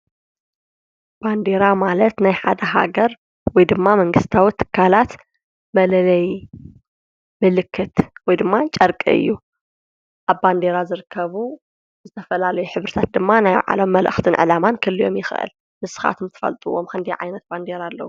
ባንዴራ ማለት ናይ ሓደ ሃገር ወይ ድማ መንግሥታዊ ትካላት መለለይ ምልክት ወይ ድማ ጨርቂ እዩ፡፡ ኣብ ባንዴራ ዝርከቡ ዝተፈላለዩሕብርታት ድማ ናይ ባዕሎም መልእኽትን ዕላማን ክህልዮም ይኽእል፡፡ ንስኻትም ትፈልጥዎም ኽንደይ ዓይነት ባንዴራ ኣለዉ?